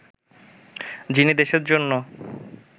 যিনি দেশের জন্য